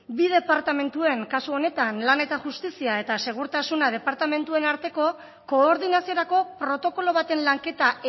bi departamentuen kasu honetan lana eta justizia eta segurtasuna departamentuen arteko koordinaziorako protokolo baten lanketa